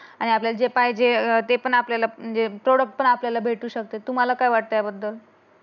आणि आपल्या जे पाहिजे ते पण आपल्याला प्रॉडक्ट पण आपल्याला भेटू शकते. तुम्हाला काय वाटते याबद्दल.